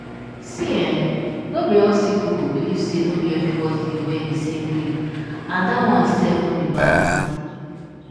see eeh no be all sick people believe say no be everybody dey well di same way and dat one sef no be bad tin.